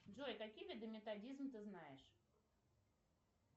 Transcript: джой какие виды методизм ты знаешь